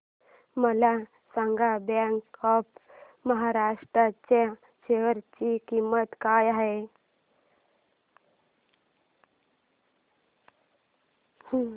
मला सांगा bank of Maharashtra च्या शेअर ची किंमत काय आहे